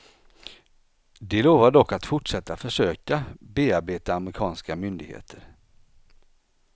De lovar dock att fortsätta försöka bearbeta amerikanska myndigheter.